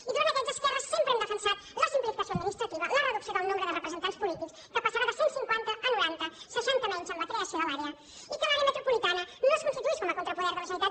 i durant aquests esquerra sempre hem defensat la simplificació administrativa la reducció del nombre de representants polítics que passarà de cent cinquanta a noranta seixanta menys amb la creació de l’àrea i que l’àrea metropolitana no es constituís com a contrapoder de la generalitat